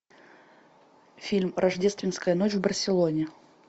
фильм рождественская ночь в барселоне